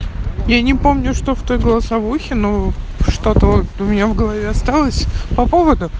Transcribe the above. я не помню что в той голосовухе ну что-то вот у меня в голове осталось по поводу